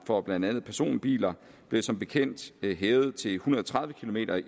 for blandt andet personbiler blev som bekendt hævet til en hundrede og tredive kilometer